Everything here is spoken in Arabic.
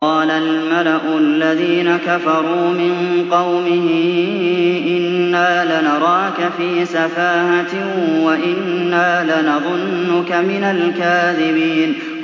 قَالَ الْمَلَأُ الَّذِينَ كَفَرُوا مِن قَوْمِهِ إِنَّا لَنَرَاكَ فِي سَفَاهَةٍ وَإِنَّا لَنَظُنُّكَ مِنَ الْكَاذِبِينَ